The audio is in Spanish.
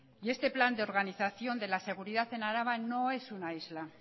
y este plan de organización de la seguridad en araba no es una isla